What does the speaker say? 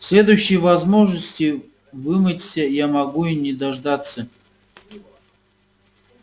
следующей возможности вымыться я могу и не дождаться